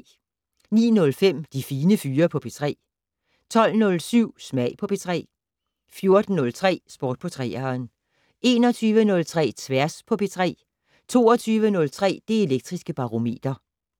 09:05: De Fine Fyre på P3 12:07: Smag på P3 14:03: Sport på 3'eren 21:03: Tværs på P3 22:03: Det Elektriske Barometer